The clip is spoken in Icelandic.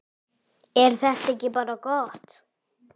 Er þetta ekki bara gott?